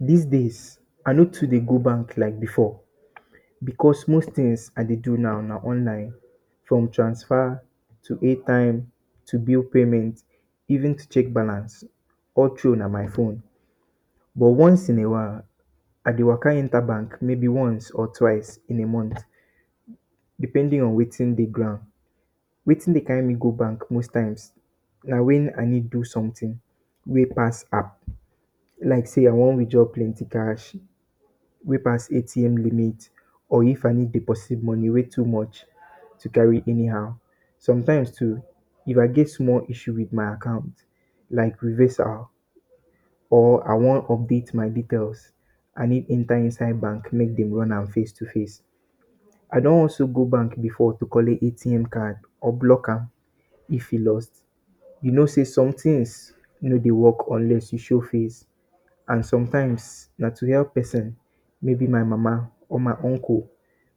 This days I no too dey go bank like before because most things I de do now na online from transfer, to airtime to bill payment even to check balance all through na my phone but once in a while I de waka enter bank maybe ones or twice in a month depending on wetin de ground wetin de carry me go bank most times na wan I need do something wey pass app. Like sey I wan withdraw plenty cash wey pass ATM limit or if I need to deposit money wey too much to carry anyhow sometimes too when If get small my acct like reversal or I wan update my details I need enter inside bank make dem run am face to face I don also go bank before to collect ATM or block am if e lost you no sey somethings no dey work unless you show face and sometimes na to help person maybe my mama or my uncle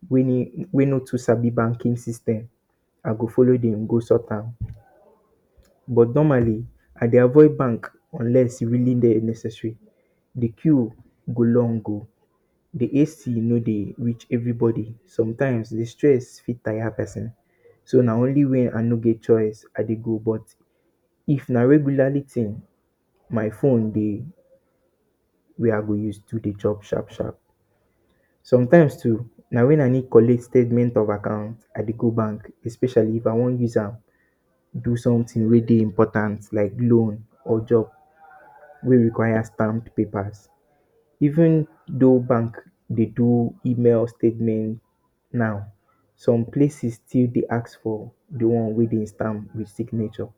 wey no understand banking system I go follow dem go sort am but normally I dey avoid bank unless e dey very necessary d queue go long o de AC no de reach everybody sometimes de stress fit tire person so na only when I no get choice I de go if na regularly thing my phone dey wey I go use do de work sharp sharp sometimes too na wen I need collet statement of account especially if I wan use am do something wey dey important like loan or job wey requires stamped peppers even though bank de do email statement now some places still de ask for de one wey dem stamp toh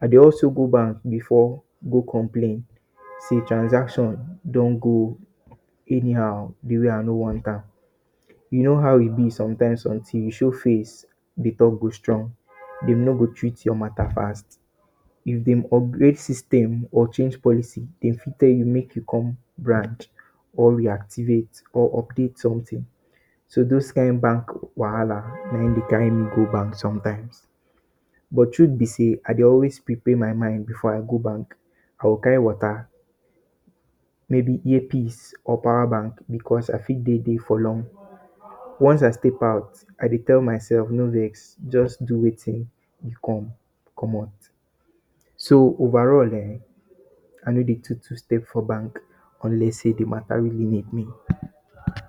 I dey also go bank before go complain sey transaction don go anyhow de way I no want am you no how e be somethings till you show face de talk go strong dem go treat your matter fast if dem upgrade system or change policy dem if tell you sey make you go branch or reactive or update something so dose kind bank wahala na em de carry me go bank sometimes but truth be sey I dey always prepare my mind before I go bank I go carry water maybe ear piece or power bank because I fit de there for long once I step out I dey tell myself no vex just do wetin you come comot so over all[um]I no de too too stay for bank unless de matter really need me.